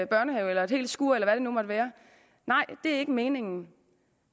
børnehave eller et helt skur eller hvad det nu måtte være nej det er ikke meningen